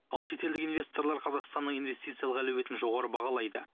ал шетелдік инвесторлар қазақстанның инвестициялық әлеуетін жоғары бағалайды